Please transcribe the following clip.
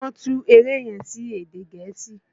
Wọ́n tú eré yẹn sí èdè gẹ̀ẹ́sì.